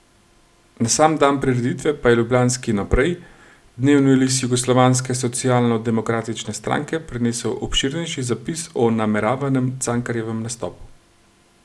Na sam dan prireditve pa je ljubljanski Naprej, dnevni list Jugoslovanske socialnodemokratične stranke prinesel obširnejši zapis o nameravanem Cankarjevem nastopu.